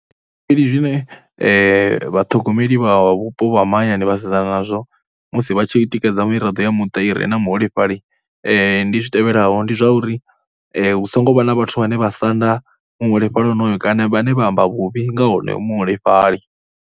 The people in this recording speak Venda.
Zwikili zwine vhaṱhogomeli vha vhupo ha mahayani vha sedzana nazwo musi vha tshi tikedza miraḓo ya muṱa i re na muholefhali ndi zwi tevhelaho, ndi zwa uri hu songo vha na vhathu vhane vha sanda muholefhali honoyo kana vhane vha amba vhuvhi nga honoyu muholefhali.